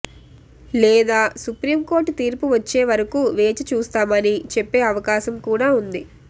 లేదా సుప్రీంకోర్టు తీర్పు వచ్చే వరకూ వేచి చూస్తామని చెప్పే అవకాశం కూడా ఉంది